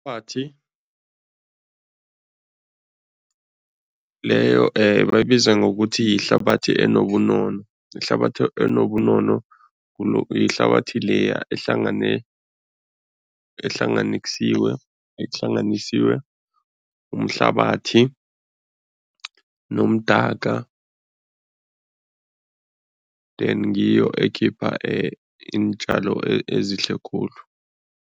Leyo bayibiza ngokuthi yihlabathi enobunono. Ihlabathi enobunono yihlabathi leya ehlanganisiwe, ehlanganisiwe umhlabathi nomdaka then ngiyo ekhipha iintjalo ezihle khulu.